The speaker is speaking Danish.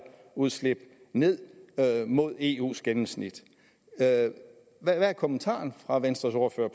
udslip ned mod eus gennemsnit hvad er kommentaren til fra venstres ordfører